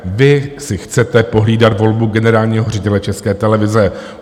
Vy si chcete pohlídat volbu generálního ředitele České televize.